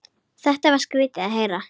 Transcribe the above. Þetta var skrýtið að heyra.